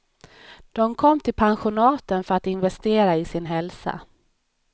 De kom till pensionaten för att investera i sin hälsa.